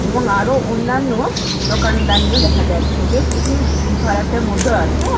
এবং আরো অন্যান্য দোকানদানিও দেখা যাচ্ছে। বেশ এখানে ভিড় ভাড়াট্টার মধ্যেও আছে।